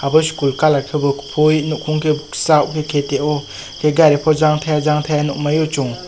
bo school kalar ke bo kufui nugfuk ke kasak kete o gari bo jang taia jang taia nug mano chung.